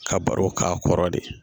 Ka baro k'a kɔrɔ de